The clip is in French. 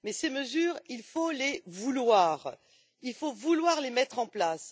Mais ces mesures, il faut les vouloir et vouloir les mettre en place.